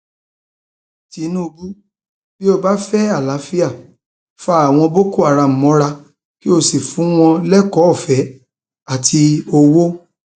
tinubu bí ó bá fẹ àlàáfíà fa àwọn boko haram mọra kí ó sì fún wọn lẹkọọọfẹ àti owó